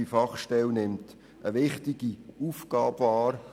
Die Fachstelle nimmt eine wichtige Aufgabe wahr.